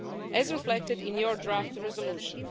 as reflected in your draft resolution.